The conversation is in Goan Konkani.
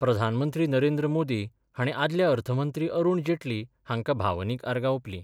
प्रधानमंत्री नरेंद्र मोदी हाणी आदले अर्थमंत्री अरुण जेटली हांका भावनीक आर्गा ओपली.